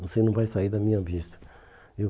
Você não vai sair da minha vista, viu.